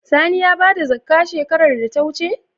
Sani ya bada zakkah shekarar da ta wuce?